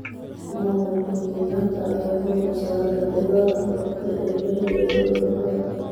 Maamulka Kenyatta ayaa xooga saaray la dagaalanka faqriga, jahliga iyo cudurada.